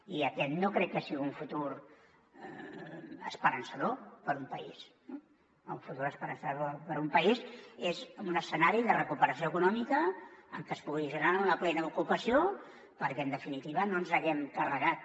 i aquest no crec que sigui un futur esperançador per a un país no el futur esperançador per a un país és un escenari de recuperació econòmica en què es pugui generar una plena ocupació perquè en definitiva no ens haguem carregat